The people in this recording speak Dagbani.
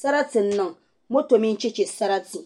Sarati n niŋ moto mini chɛchɛ sarati